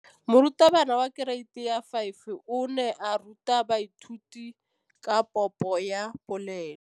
Moratabana wa kereiti ya 5 o ne a ruta baithuti ka popô ya polelô.